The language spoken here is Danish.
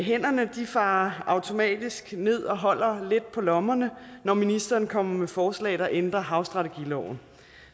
hænderne farer automatisk ned og holder lidt på lommerne når ministeren kommer med forslag der ændrer havstrategiloven